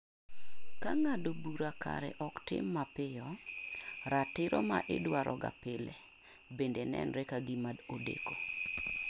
Ka ng'ado bura kare ok tim mapiyo ratiro maidwaroga pile bende nenre kagima odeko.